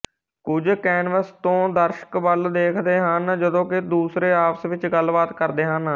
ਕੁਝ ਕੈਨਵਸ ਤੋਂ ਦਰਸ਼ਕ ਵੱਲ ਦੇਖਦੇ ਹਨ ਜਦੋਂ ਕਿ ਦੂਸਰੇ ਆਪਸ ਵਿੱਚ ਗੱਲਬਾਤ ਕਰਦੇ ਹਨ